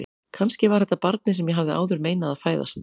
Kannski var þetta barnið sem ég hafði áður meinað að fæðast.